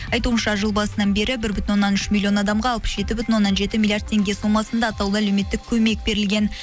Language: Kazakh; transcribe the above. айтуынша жыл басынан бері бір бүтін оннан үш миллион адамға алпыс жеті бүтін оннан жеті миллиард теңге сомасында атаулы әлеуметтік көмек берілген